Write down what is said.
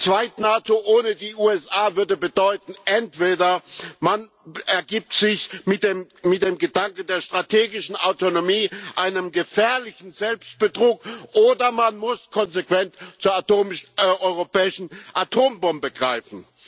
Zweit NATO ohne die USA würde bedeuten entweder, man ergibt sich mit dem Gedanken der strategischen Autonomie einem gefährlichen Selbstbetrug, oder man muss konsequent zur europäischen Atombombe greifen.